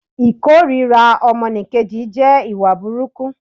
Ìkórira ọmọnìkejì jẹ́ ìwà burukú